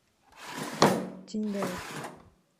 тиньгаев